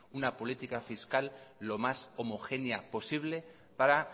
una política fiscal lo más homogénea posible para